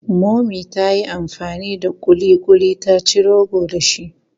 Mummy ta yi amfani da ƙuliƙuli ta ci rogo dashi.